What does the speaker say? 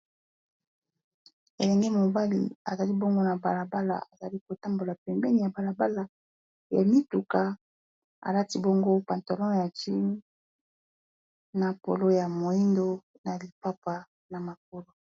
Elenge mobali azali bongo na bala bala azali kotambola pembeni ya bala bala, ya mituka alati bongo pantalon ya jeans na polo ya moyindo na lipapa na makolo.